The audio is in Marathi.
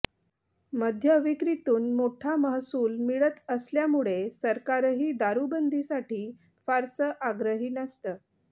मद्य विक्रीतून मोठा महसूल मिळत असल्यामुळे सरकारही दारुबंदीसाठी फारसं आग्रही नसतं